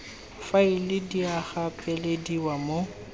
faela di a gapelediwa mo